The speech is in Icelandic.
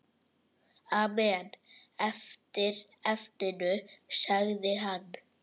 Amen eftir efninu sagði hann.